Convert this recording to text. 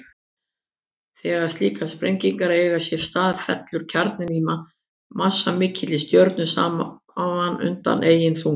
Þegar slíkar sprengingar eiga sér stað fellur kjarninn í massamikilli stjörnu saman undan eigin þunga.